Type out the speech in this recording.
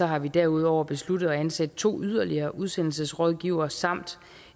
har vi derudover besluttet at ansætte to yderligere udsendelsesrådgivere samt